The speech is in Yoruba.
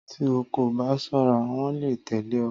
Tí o kò bá ṣọ́ra, wọ́n lè tẹ̀lé ọ